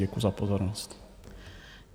Děkuju za pozornost.